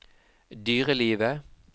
dyrelivet